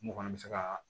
Mun fana bɛ se ka